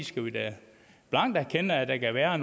skal vi da blankt erkende at der kan være